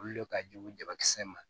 Olu le ka jugu jama kisɛ ma